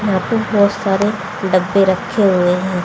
यहां पे बहोत सारे डब्बे रखे हुए हैं।